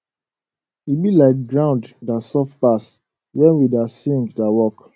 e be like ground da soft pass wen we da sing da work